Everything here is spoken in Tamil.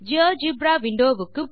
ஜியோஜெப்ரா விண்டோ வுக்கு போகலாம்